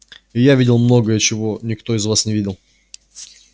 и я видел многое чего никто из вас не видел